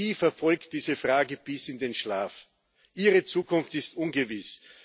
Sie verfolgt diese Frage bis in den Schlaf, ihre Zukunft ist ungewiss.